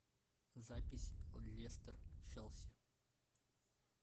запись лестер челси